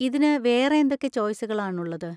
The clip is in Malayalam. ഇതിന് വേറെ എന്തൊക്കെ ചോയ്‌സുകളാണ് ഉള്ളത്?